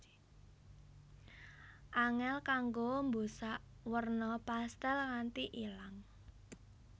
Angèl kanggo mbusak werna pastèl nganti ilang